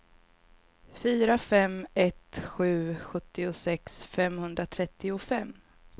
fyra fem ett sju sjuttiosex femhundratrettiofem